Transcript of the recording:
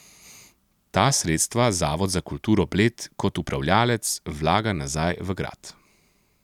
Ta sredstva Zavod za kulturo Bled kot upravljavec vlaga nazaj v grad.